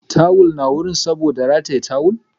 Ratayen tawull na gun saboda tawul